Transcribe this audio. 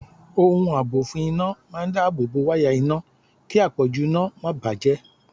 Ohun àbò fún iná máa dáábòbò wáyà iná kí àpọ̀jù iná máa bà á jẹ́.